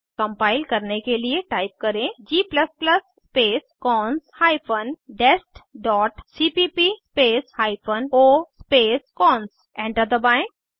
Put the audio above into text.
compile करने के लिए टाइप करें g space cons hyphen dest dot cpp space hyphen o space cons enter दबाएं